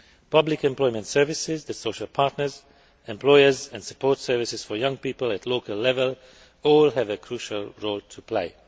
Public employment services, the social partners, employers and support services for young people at local level all have a crucial role to play.